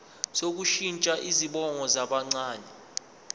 sokushintsha izibongo zabancane